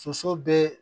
Soso be